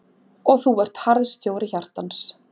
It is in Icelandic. Og þú ert harðstjóri hjartans.